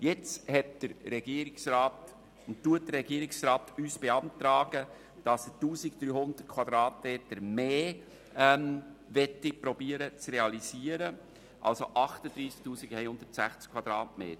Jetzt beantragt uns der Regierungsrat, dass er 1300 Quadratmeter mehr realisieren möchte, also 38 160 Quadratmeter.